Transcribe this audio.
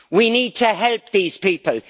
We need to help these people.